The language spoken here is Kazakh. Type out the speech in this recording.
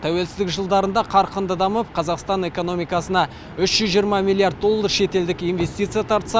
тәуелсіздік жылдарында қарқынды дамып қазақстан экономикасына үш жүз жиырма миллиард доллар шетелдік инвестиция тартса